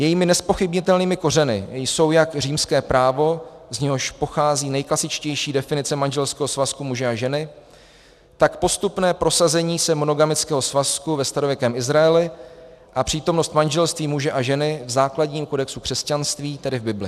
Jejími nezpochybnitelnými kořeny jsou jak římské právo, z něhož pochází nejklasičtější definice manželského svazku muže a ženy, tak postupné prosazení se monogamického svazku ve starověkém Izraeli a přítomnost manželství muže a ženy v základním kodexu křesťanství, tedy v Bibli.